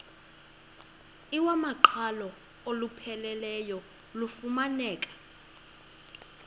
iwamaqhalo olupheleleyo lufumaneka